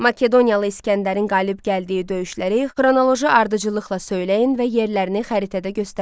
Makedoniyalı İsgəndərin qalib gəldiyi döyüşləri xronoloji ardıcıllıqla söyləyin və yerlərini xəritədə göstərin.